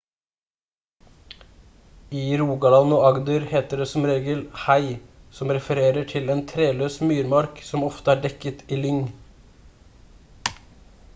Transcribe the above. i rogaland og agder heter det som regel «hei» som refererer til en treløs myrmark som ofte er dekket av lyng